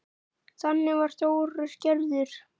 Þannig var Þórir gerður.